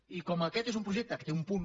i com que aquest és un projecte que té un punt